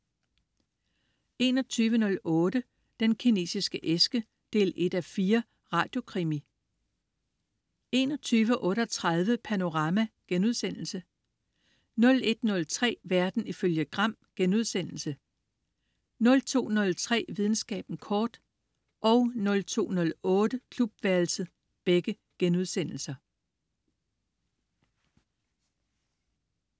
21.08 Den Kinesiske æske 1:4. Radiokrimi 21.38 Panorama* 01.03 Verden ifølge Gram* 02.03 Videnskaben kort* 02.08 Klubværelset*